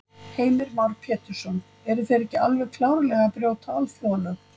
Heimir Már Pétursson: Eru þeir ekki alveg klárlega að brjóta alþjóðalög?